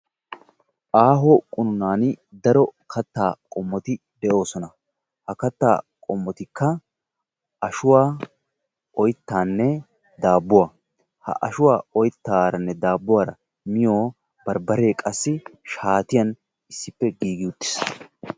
Aaho qunuunaani daro kattaa qommoti de'oosona. Ha kattaa qommotikka ashuwa, oyttaanne daabbuwa. Ha ashuwa oyttaaranne daabbuwara miyo barbbaree qassi shaatiyan issippe giigi uttiis.